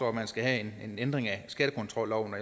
at vi skal have en ændring af skattekontrolloven